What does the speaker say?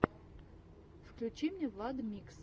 включи мне владмикс